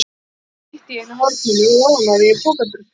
Það liggur einsog slytti í einu horninu og ofaná því er pokadrusla.